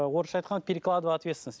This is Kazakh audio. орысша айтқанда перекладывание ответственности